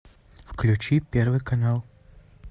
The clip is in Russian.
включи первый канал